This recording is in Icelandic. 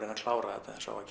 klára þetta eins og á að